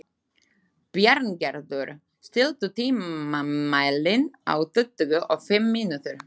Bjarngerður, stilltu tímamælinn á tuttugu og fimm mínútur.